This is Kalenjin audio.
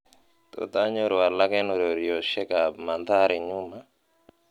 tot anyoru alak en ureryosiek ab mandahri nyuma